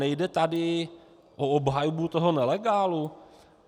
Nejde tady o obhajobu toho nelegálu?